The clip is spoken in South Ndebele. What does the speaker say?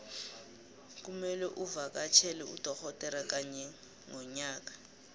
kumelwe uvakatjhele udogodera kanye ngonyaka